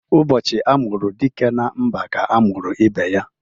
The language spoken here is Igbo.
Ụbọchị amụru dike na mba ka a mụrụ ibe ya